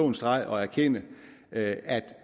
en streg og erkende at